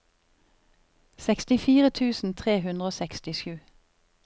sekstifire tusen tre hundre og sekstisju